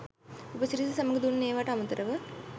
උපසිරසි සමඟ දුන් ඒවාට අමතරව